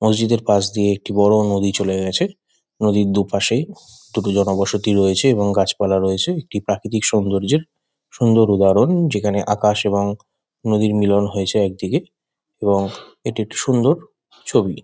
মসজিদের পাশ দিয়ে একটি বড়ো নদী চলে গেছে। নদীর দুপাশে দুটো জনবসতি রয়েছে এবং গাছপালা রয়েছে। একটি প্রাকৃতিক সৌন্দর্যের সুন্দর উদাহরণ যেখানে আকাশ এবং নদীর মিলন হয়েছে একদিকে এবং এটি একটি সুন্দর ছবি।